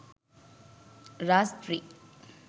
raaz3